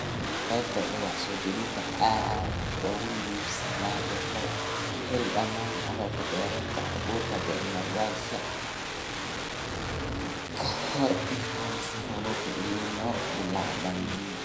"Qaybta wax-soo-gelinta ee aad soo iibsanayso hore u hel dhammaan agabka beertaada ( abuur, bacrimiyeyaasha iwm) ka hor intaysan roobabka El Niño bilaabmin.